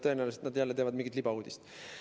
Tõenäoliselt teevad nad jälle mingit libauudist.